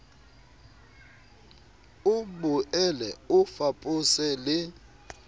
o boele o fapose le